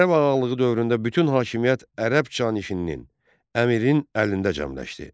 Ərəb Ağalığı dövründə bütün hakimiyyət Ərəb canişininin, əmirin əlində cəmləşdi.